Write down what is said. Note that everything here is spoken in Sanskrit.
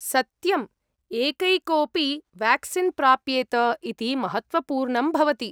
सत्यम्, एकैकोऽपि वेक्सीन् प्राप्येत इति महत्त्वपूर्णं भवति।